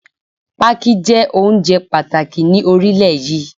Pákí jẹ́ oúnjẹ pàtàkì ni orílẹ̀ yí.